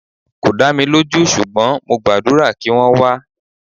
Kò dá mi lójú ṣùgbọ́n mo gbàdúrà kí wọ́n wá.